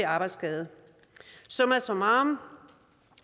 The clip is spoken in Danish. arbejdsskade summa summarum